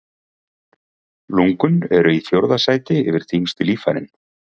Lungun eru í fjórða sæti yfir þyngstu líffærin.